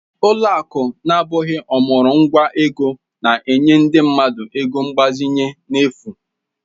Ụlọ akụ na-abụghị ọmụrụ nwa ego na-enye ndị mmadụ ego mgbazinye n'efu